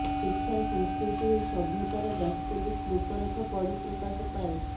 ଶିକ୍ଷା ସଂସ୍କୃତି ଓ ସଭ୍ୟତାର ବାସ୍ତବିକ୍ ରୂପରେଖ ପରିପ୍ରକାଶ ପାଏ